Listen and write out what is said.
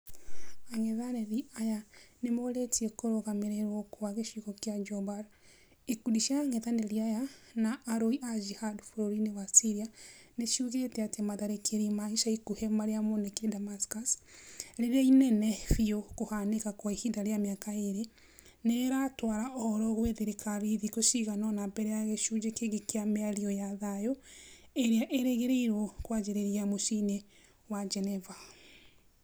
Angethanĩri aya nĩmorĩtie kũrũgamĩrĩrwo kwa gĩcigo kĩa Jobar. Ikundi cia ang'ethanĩri aya na arũi a Jihad bũrũri-inĩ wa Syria niciugĩte atĩ matharĩkĩra ma ica ikuhĩ marĩa monekanire Damascus , rĩrĩa inene biu kũhanĩka kwa ihinda rĩa mĩaka ĩrĩ , nĩrĩratwara ũhoro gwĩ thirikari thikũ cigana ona mbere ya gĩcunjĩ kĩngi kĩa mĩario ya thayũ ĩrĩa ĩrĩgĩrĩirwo kwanjĩrĩria mũciĩ-inĩ wa Geneva